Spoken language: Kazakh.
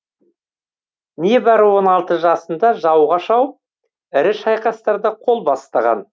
небәрі он алты жасында жауға шауып ірі шайқастарда қол бастаған